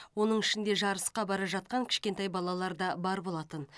оның ішінде жарысқа бара жатқан кішкентай балалар да бар болатын